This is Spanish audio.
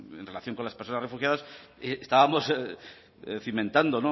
en relación con las personas refugiadas estábamos cimentando